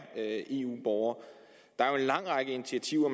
eu borgere der er jo en lang række initiativer